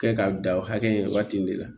Kɛ k'a dan o hakɛ in waati nin de la